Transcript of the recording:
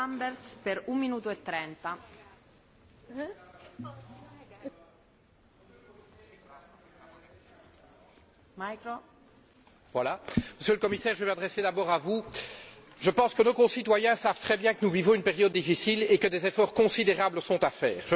Madame la Présidente, Monsieur le Commissaire, je vais m'adresser d'abord à vous. Je pense que nos concitoyens savent très bien que nous vivons une période difficile et que des efforts considérables sont à faire.